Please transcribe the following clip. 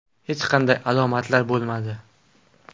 Hech qanday alomatlar bo‘lmadi.